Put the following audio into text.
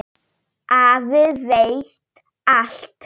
Afi veit allt.